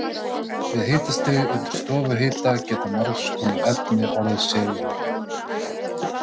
Við hitastig undir stofuhita geta margskonar efni orðið segulmögnuð.